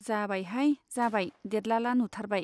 जाबायहाय , जाबाय देदलादला नुथारबाय।